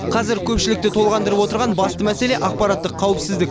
қазір көпшілікті толғандырып отырған басты мәселе ақпараттық қауіпсіздік